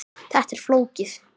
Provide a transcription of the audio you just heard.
Þetta er flókið.